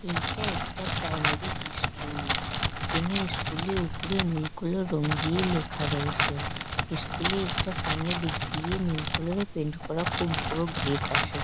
এইটা একটা primary school কেনো ইস্কুল - এর উপরে নীল কোলার রং দিয়ে লেখা রয়েছে। ইস্কুল -এ একটা সামনের দিক দিয়ে নীল কোলার - এর পেইন্ট করা খুব বড়ো গেট আছে।